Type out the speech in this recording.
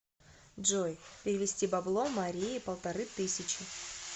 джой перевести бабло марии полторы тысячи